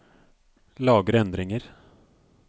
Lagre endringer